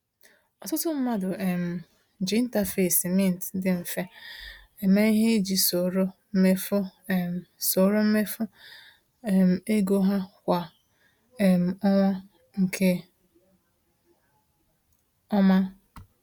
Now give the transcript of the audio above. Ọtụtụ mmadụ um ji interface Mint dị mfe eme ihe iji soro mmefu um soro mmefu um ego ha kwa um ọnwa nke ọma.